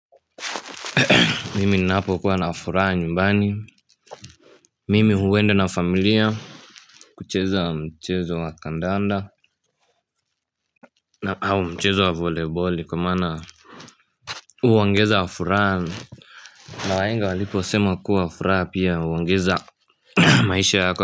Mimi ninapo kuwa na furaha nyumbani Mimi huenda na familia kucheza mchezo wa kandanda na au mchezo wa voliboli kwa maana huongeza furaha. Na wahenga waliposema kuwa furaha pia huongeza maisha yako.